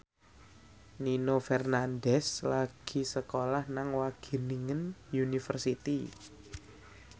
Nino Fernandez lagi sekolah nang Wageningen University